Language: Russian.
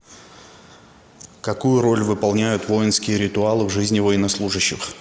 какую роль выполняют воинские ритуалы в жизни военнослужащих